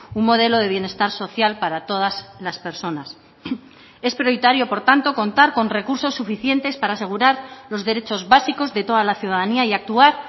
un modelo de bienestar social para todas las personas es prioritario por tanto contar con recursos suficientes para asegurar los derechos básicos de toda la ciudadanía y actuar